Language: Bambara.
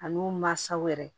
Ani u mansaw yɛrɛ